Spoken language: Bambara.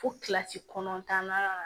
Fo kilasi kɔnɔntɔnnan